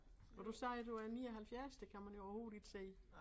Og du sagde du er 79 det kan man jo overhovedet ikke se